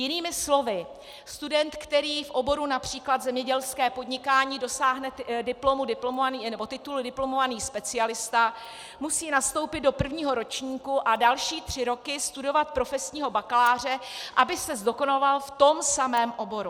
Jinými slovy, student, který v oboru například zemědělské podnikání dosáhne titulu diplomovaný specialista, musí nastoupit do prvního ročníku a další tři roky studovat profesního bakaláře, aby se zdokonaloval v tom samém oboru.